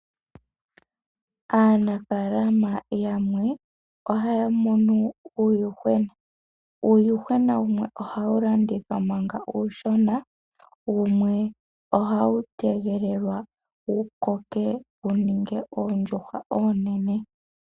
Aanafaalama yamwe ohaya munu uuyuhwena . Uuyuhwena wumwe ohawu landithwa manga uushona wumwe ohawu tegwa wukoke wu ninge oondjuhwa oonene.